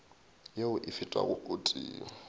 yeo e fetago o tee